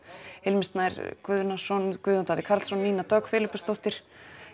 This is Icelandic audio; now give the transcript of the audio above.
Hilmir Snær Guðnason Guðjón Davíð Karlsson og Nína Dögg Filippusdóttir